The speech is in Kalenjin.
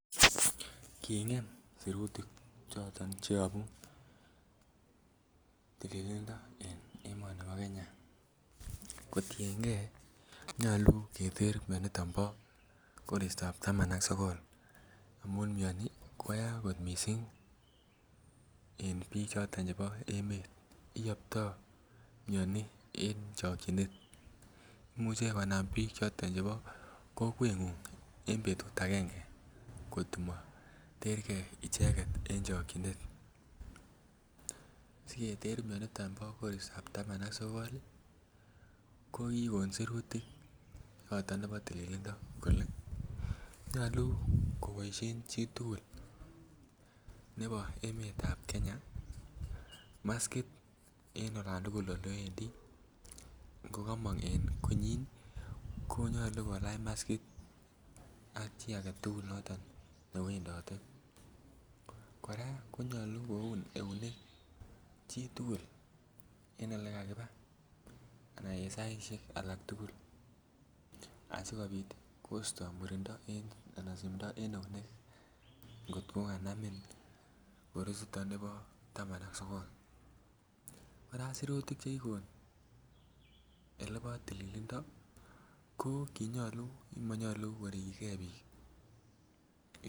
Kingem sirutik choton che yobuu tililndo en emoni bo Kenya kotiengee nyoluu keter mioniton bo koristab taman ak sogol amun mioni koyaa kot missing en biik choton chebo emet iyopto mioni en chokyinet. Imuche konam biik choton chebo kokwengung en betut angenge kotimo terge icheget en chokyinet siketer mioniton bo koristab taman ak sogol ii ko kigon sirutik yoton nebo tilililndo kole nyoluu koboishen chi tugul nebo emetab Kenya maskit en olan tugul ole wendi ngo komong en konyin ko nyoluu kolach maskit ak chi agetugul noton ne wendote. Koraa konyoluu koun eunek chi tugul en ole kakiba ana en saishek alak tugul asikopit kosto murindo ana simdo en eunek ngot ko kanamin korisiton bo taman ak sogol, koraa sirutik che kigon olebo tilililndo ko kinyolu kimonyoluu ko rigyigee biik